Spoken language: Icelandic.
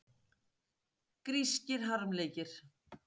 Grískir harmleikir.